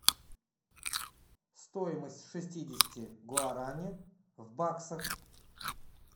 стоимость шестидесяти гуарани в баксах